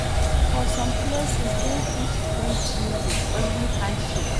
For some places dem fit greet you with only handshake